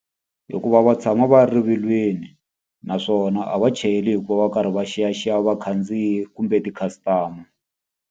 Hikuva va tshama va ri rivilweni, naswona a va chayeli hikuva va karhi va xiyaxiya vakhandziyi kumbe ti-customer.